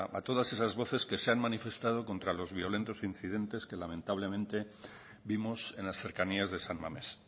a la de todas esas voces que se han manifestado contra los violentos incidentes que lamentablemente vivos en las cercanías de san mamés